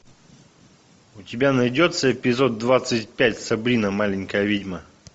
у тебя найдется эпизод двадцать пять сабрина маленькая ведьма